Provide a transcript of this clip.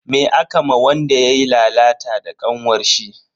Me aka ma wanda yayi lalata da kanwarshi?